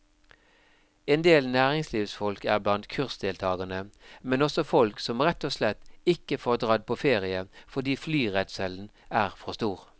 Endel næringslivsfolk er blant kursdeltagerne, men også folk som rett og slett ikke får dratt på ferie fordi flyredselen er for stor.